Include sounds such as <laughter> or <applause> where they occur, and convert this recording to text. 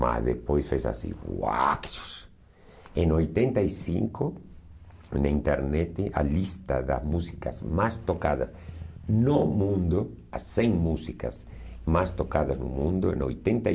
Mas depois fez assim... <unintelligible> Em oitenta e cinco, na internet, a lista das músicas mais tocadas no mundo, as cem músicas mais tocadas no mundo, em oitenta e